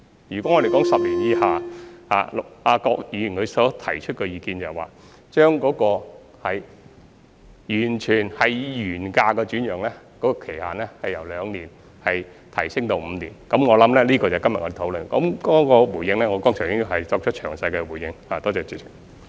如果說10年以下的，郭議員提出的意見是，將以原價來轉讓的期限，由兩年提升到5年，這就是我們今天所討論的，至於回應方面，我剛才已作出詳細的回應。